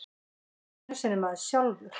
Ekki einu sinni maður sjálfur.